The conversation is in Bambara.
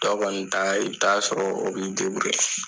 Tɔ kɔni taa ye i bi t'a sɔrɔ , o bɛ i .